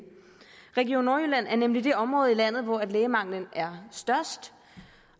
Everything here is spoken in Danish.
region nordjylland er nemlig det område i landet hvor lægemanglen er størst